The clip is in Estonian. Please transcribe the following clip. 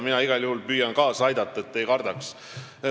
Mina igal juhul püüan kaasa aidata, et te ei kardaks.